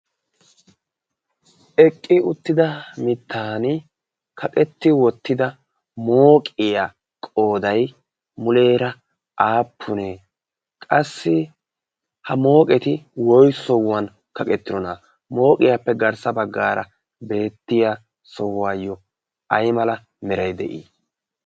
Eqqi uttida mittaan kaqetti wottida mooqiya qooday muleera aappunee? Qassi ha mooqeti woysu sohuwan kaqettidonaa? Mooqiyaappe garssa baggaara beettiyaa sohuwaayyo ay mala meray de'ii?